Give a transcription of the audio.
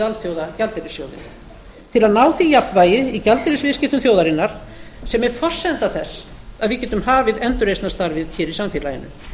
alþjóðagjaldeyrissjóðinn til að ná því jafnvægi í gjaldeyrisviðskiptum þjóðarinnar sem er forsenda þess að við getum hafið endurreisnarstarfið hér í samfélaginu